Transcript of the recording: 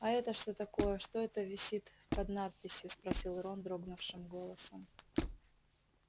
а это что такое что это висит под надписью спросил рон дрогнувшим голосом